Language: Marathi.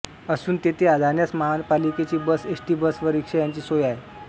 असून तेथे जाण्यास महापालिकेची बस एस टी बस व रिक्षा यांची सोय आहे